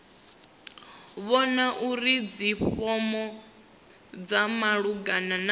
vhona uri dzifomo dza malugana